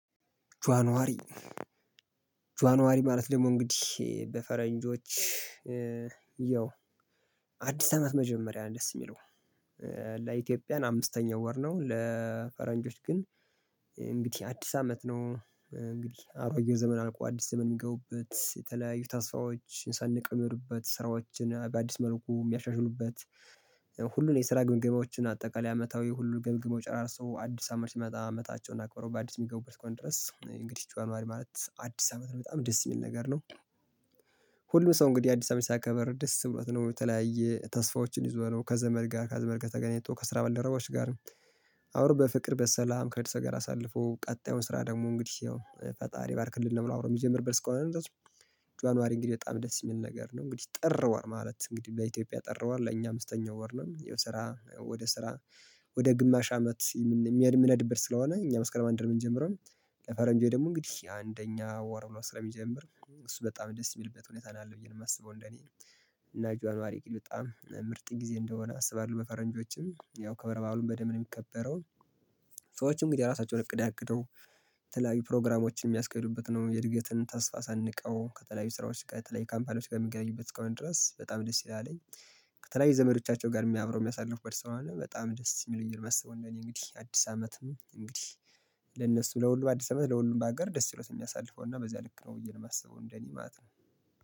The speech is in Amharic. ጆአን ዋሪ ጆአን ዋሪ ማለት ደግሞ እንግዲህ በፈረንጆች ኧ ያው አዲስ አመት መጀመሪያ ደስ የሚለው ለኢትዮጵያን አምስተኛው ወር ነው ለፈረንጆች ግን እንግድህ አዲስ አመት ነው እንግዲህ አሮጌ ዘመን አልቆ አዲስ ዘመን የሚገቡበት የተለያዩ ታስፋዎች ሰንቀው የሚሄዱበት ስራዎችን በአዲስ መልኩ የሚያሻሽሉበት ሁሉንም የስራ ግምገማዎችን አጠቃላይ አመታዊ ሁሉን ገምግመው ጨራርሰው አዲስ አመት ሲመጣ አመታቸውን አክብረው በአዲስ የሚገቡበት እሰከሆነ ድረስ እንግዲህ ጆአን ማሪ ማለት አዲስ አመት ነው በጣም ደስ የሚል ነገር ነው። ሁሉም ሰው እንግዲህ አዲስ አመት ሲያከብር ደስ ብሎት ነው የተለያየ ተስፋዎችን ይዞ ነው ከዘመድ ጋር ከዘመድ ከተገኘተው ከስራ ባልደረባዎች ጋር። አውሮ በፍቅር በሰላም ከደሰ ጋር አሳልፎ ቀጣዩን ስራ ደግሞ እንግዲህ ያው ፈጣሪ ባርክልህ ነው የምናወራው የሚጀምር በልስ ከሆነ ነው ድረስ። ጆአን ዋሪ እንግዲህ በጣም ደስ የሚል ነገር ነው እንግዲህ ጥር ወር ማለት እንግዲህ ለኢትዮጵያ ጥር ወር ለእኛ አምስተኛው ወር ነው የው ስራ ወደ ስራ። ወደ ግማሽ አመት የሚያድም የምነድብህ ስለሆነ እኛ መስከረም አንድ የምንጀምረው። ለፈረንጆዬ ደግሞ እንግዲህ አንደኛ ወር ስለሚጀምር እሱ በጣም ደስ የሚልበት ሁኔታ ነው አለ ብዬ ነው የማስበው እንደኔ። እና ጆአን ዋሪ ቂል በጣም ምርጥ ጊዜ እንደሆነ አስባለሁ በፈረንጆቹም ያው ከበረባሉን በደም የሚከበረውን። ሰዎችም እንግዲህ ራሳቸውን እቅድ አቅደው። ተላቢ ፕሮግራሞችን የሚያስቀይሩበት ነው የእድገትን ተስፋ ሳንቀው ከተለያዩ ስራዎች ከተለያዩ ካምፓኒዎች ከሚገኝበት ከሆነ ድረስ በጣም ደስ ይላልኝ። ከተለያዩ ዘመዶቻቸው ጋር የሚያብረው የሚያሳልፍ በስራ አለ በጣም ደስ የሚለኝ ነው የማስበው እንደኔ። እንግዲህ አዲስ አመትም እንግዲህ። ለነሱ ለሁሉም አዲስ አበባ ለሁሉም በሀገር ደስ ይሎት እኛ አሳልፎና በዚያ ልክ ነው ብዬ ለማሰበው እንደኔ ማለት ነው